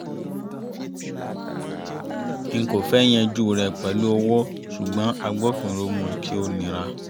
n kò fẹ́ yanjú rẹ̀ pẹ̀lú owó ṣùgbọ́n agbófinró mú un kí ó nira